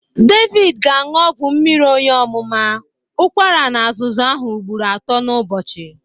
David ga-aṅụ ọgwụ mmiri oyi ọmụma, ụkwara na azụzụ ahụ ụgbọro atụ n'ubochi.